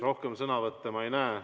Rohkem sõnavõtte ma ei näe.